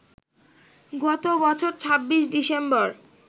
গত বছর ২৬ ডিসেম্বর